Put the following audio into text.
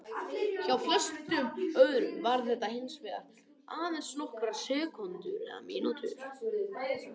Hjá flestum öðrum varir þetta hins vegar aðeins í nokkrar sekúndur eða mínútur.